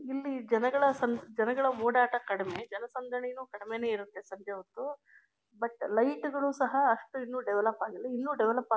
ಇಲ್ಲಿ ಜನಗಳ ಸಂ ಜನಗಳ ಓಡಾಟ ಕಡಿಮೆ ಜನಸಂದಣಿ ನು ಕಡಿಮೇನೆ ಇರುತ್ತೆ ಸದ್ಯ ಒಂದು ಬಟ್ ಲೈಟ್ ಗಳು ಸಹ ಅಷ್ಟು ಇನ್ನು ದೆವೆಲೋಪ್ ಆಗಿಲ್ಲ ಇನ್ನು ದೆವೆಲೋಪ್ ಆಗ್.